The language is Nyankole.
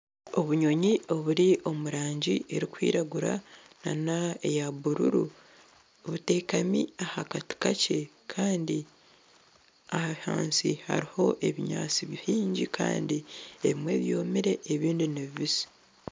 Obunyonyi oburi omurangi erikwiragura nana eya bururu butekami aha kati kakye Kandi ahansi hariho ebinyaatsi bingi Kandi ebimwe byomire ebindi ni bibisi.